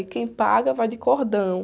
E quem paga vai de cordão.